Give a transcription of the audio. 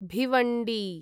Bhiwandi